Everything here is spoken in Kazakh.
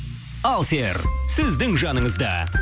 алсер сіздің жаныңызда